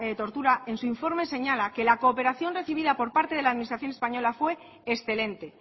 tortura en su informe señala que la cooperación recibida por parte de la administración española fue excelente